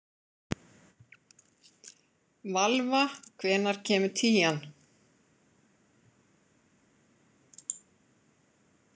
Valva, hvenær kemur tían?